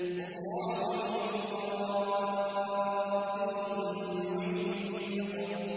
وَاللَّهُ مِن وَرَائِهِم مُّحِيطٌ